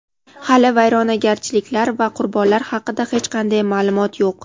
Hali vayronagarchiliklar va qurbonlar haqida hech qanday ma’lumot yo‘q.